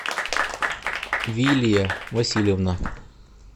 вилья васильевна